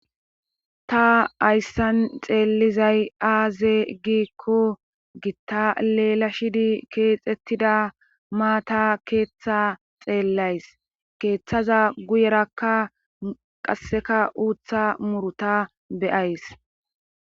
ta ayssan xeelizay aaze giikko gitta leelashidi keexettida maata keeththa xeellays keeththaza guyerakka qasseka uutha muruta be7ays